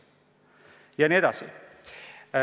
Ja nii edasi.